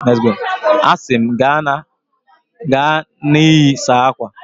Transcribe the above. A sị m, gaa na iyi, saa akwa!